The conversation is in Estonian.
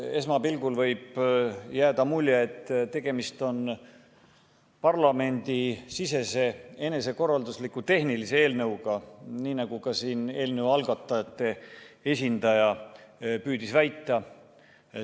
Esmapilgul võib jääda mulje, et tegemist on parlamendisisese enesekorraldusliku tehnilise eelnõuga, nii nagu ka eelnõu algatajate esindaja püüdis siin väita.